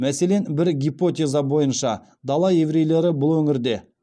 мәселен бір гипотеза бойынша дала еврейлері бұл өңірде